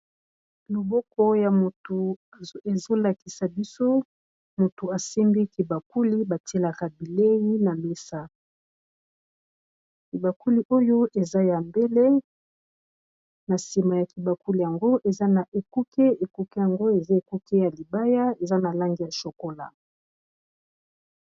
Loboko ya moto ezo lakisa biso motu asimbi kibakuli ba tielaka bileyi na mesa. Kibakuli oyo eza ya mbele, na nsima ya kibakuli yango eza na ekuke. Ekuke yango eza ekuke ya libaya, eza na langi ya chokolat.